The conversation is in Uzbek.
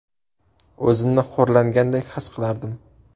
O‘zimni xo‘rlangandek his qilardim.